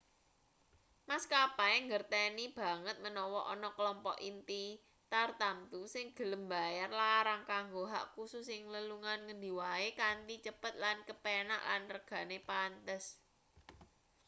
maskapai ngerteni banget menawa ana klompok inti tartamtu sing gelem mbayar larang kanggo hak kusus ing lelungan ngendi wae kanthi cepet lan kepenak lan regane pantes